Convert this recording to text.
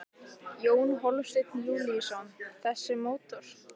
Jón Hólmsteinn Júlíusson: Þessi mótor?